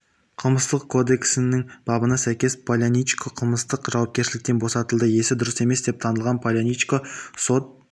қылмыстық кодексінің бабына сәйкес поляничко қылмыстық жауапкершіліктен бостылды есі дұрыс емес деп танылған поляничконы сот